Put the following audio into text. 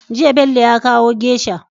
Jiya Bello ya kawo geisha